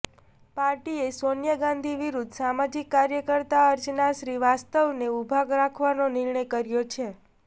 પાર્ટીએ સોનિયા ગાંધી વિરૂદ્ધ સામાજિક કાર્યકર્તા અર્ચના શ્રીવાસ્તવને ઉભા રાખવાનો નિર્ણય કર્યો છે